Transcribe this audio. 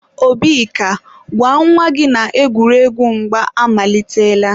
Obika, gwa nwa gị na egwuregwu mgba amalitela.